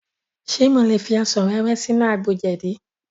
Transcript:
Ṣe mo lè fi ọsàn wẹ́wẹ́ sínú àgbo jẹ̀dí?